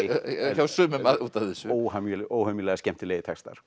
hjá sumum út af þessu óhemjulega óhemjulega skemmtilegir textar